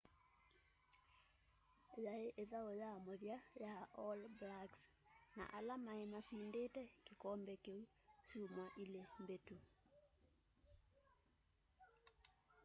yai ithau ya muthya ya all blacks na ala mai masindite kikombe kiu syumwa ili mbitu